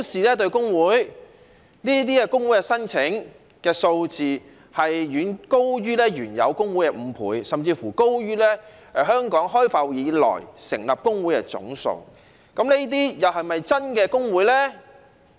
這些工會的申請數字，遠高於原有工會的5倍，甚至高於香港開埠以來成立的工會總數，這些又是否真的工會呢？